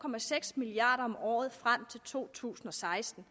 milliard kroner om året frem til to tusind og seksten